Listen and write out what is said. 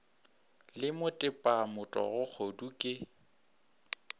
le motepa motogo kgodu ke